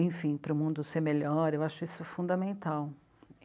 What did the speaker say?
enfim, para o mundo ser melhor, eu acho isso fundamental.